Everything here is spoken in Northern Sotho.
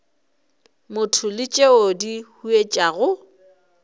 motho le tšeo di huetšago